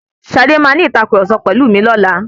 Ṣadé máa ní ìtàkurọ̀sọ pẹ̀lú mi lọlá.